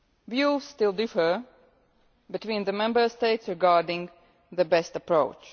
Views still differ between the Member States regarding the best approach.